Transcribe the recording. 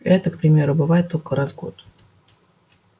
эта к примеру бывает только раз в год